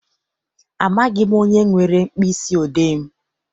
Amaghị m onye were mkpịsị odee m.